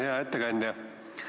Hea ettekandja!